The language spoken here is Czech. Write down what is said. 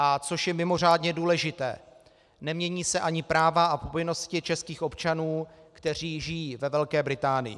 A co je mimořádně důležité, nemění se ani práva a povinnosti českých občanů, kteří žijí ve Velké Británii.